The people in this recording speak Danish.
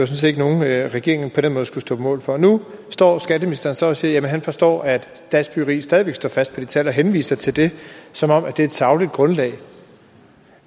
set ikke nogle tal regeringen på den måde skulle stå på mål for nu står skatteministeren så og siger at han forstår at dansk byggeri stadig væk står fast på det tal og henviser til det som om det er et sagligt grundlag